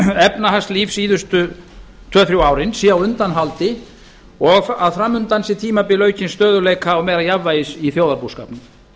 efnahagslíf á síðustu tveimur til þremur árum sé á undanhaldi og að fram undan sé tímabil aukins stöðugleika og meira jafnvægis í þjóðarbúskapnum